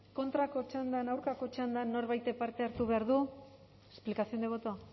kontrako txandan aurkako txandan norbaitek parte hartu behar du explicación de voto